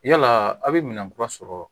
Yala aw bɛ minɛn kura sɔrɔ